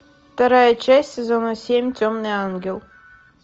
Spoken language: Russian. вторая часть сезона семь темный ангел